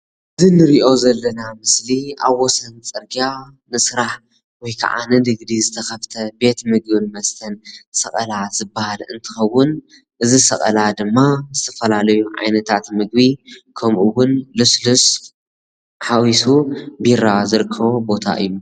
ቤተ ምግብን መስተን እንትኸውን ተገልገልቲ ገንዘብ ከፊሎም ይጥቀሙ።